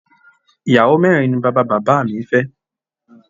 Ìyàwó mẹ́rin ni bàbá bàbá mi fẹ́